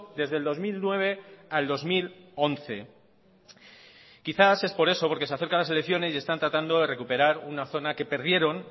desde el dos mil nueve al dos mil once quizás es por eso porque se acercan las elecciones y están tratando de recuperar una zona que perdieron